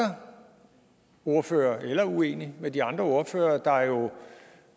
er ordføreren eller uenig med de andre ordførere der jo